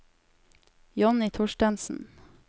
Jonny Thorstensen